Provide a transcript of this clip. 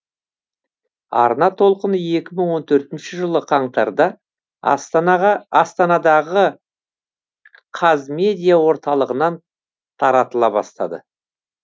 арна толқыны екі мың он төртінші жылы қаңтарда астанадағы қазмедиа орталығынан таратыла бастады